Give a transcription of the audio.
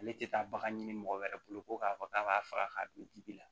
Ale tɛ taa bagan ɲini mɔgɔ wɛrɛ bolo ko k'a fɔ k'a b'a faga k'a don dibi la